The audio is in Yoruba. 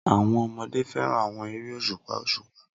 Awọn ọmọde fẹran awọn ere oṣupa oṣupa